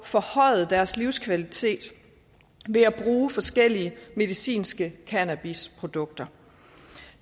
forhøjet deres livskvalitet ved at bruge forskellige medicinske cannabisprodukter